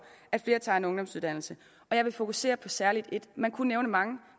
at flere tager en ungdomsuddannelse og jeg vil fokusere på særlig et man kunne nævne mange